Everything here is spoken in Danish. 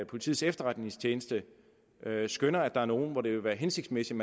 politiets efterretningstjeneste skønner at der er nogle som det ville være hensigtsmæssigt